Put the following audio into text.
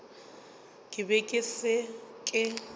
ke be ke sa ke